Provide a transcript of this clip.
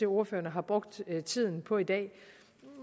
ordførerne har brugt tiden på i dag